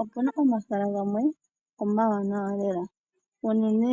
Opu na omahala gamwe omawanawa lela. uunene